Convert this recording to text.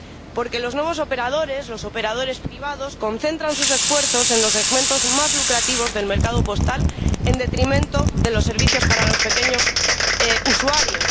porque los nuevos operadores, los operadores privados, concentran sus esfuerzos en los segmentos más lucrativos del mercado postal en detrimento de los servicios para los pequeños usuarios